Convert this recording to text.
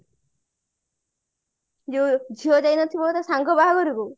ଯୋଉ ଝିଅ ଯାଇନଥିବ ତା ସାଙ୍ଗ ବାହାଘରକୁ